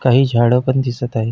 काही झाड पण दिसत आहेत.